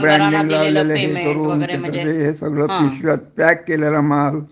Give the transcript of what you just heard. branding लावलेलं हे करून तिकडं ते हे सगळं पिशव्यात पॅक केलेला माल